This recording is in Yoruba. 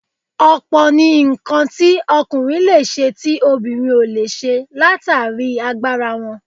Ọ̀pọ̀ ni nǹkan tí ọkùnrin leè ṣe tí obìnrin ò lè ṣe látàrí agbára wọn